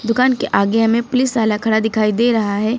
दुकान के आगे हमें पुलिस वाला खड़ा दिखाई दे रहा है।